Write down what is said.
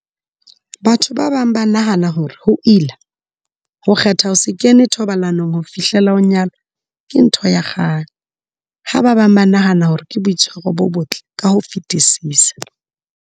Batho ba bang ba nahana hore ho ila ho kgetha ho se kene thobalanong ho fihlela o nyalwa ke ntho ya kgale, ha ba bang ba nahana hore ke boitshwaro bo botle ka ho fetisisa.